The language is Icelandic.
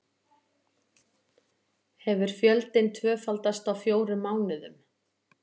Hefur fjöldinn tvöfaldast á fjórum mánuðum